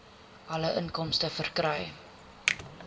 alle inkomste verkry